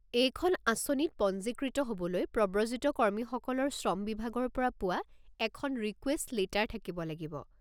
এইখন আঁচনিত পঞ্জীকৃত হ'বলৈ প্ৰব্ৰজিত কৰ্মীসকলৰ শ্ৰম বিভাগৰ পৰা পোৱা এখন ৰিকুৱেষ্ট লেটাৰ থাকিব লাগিব।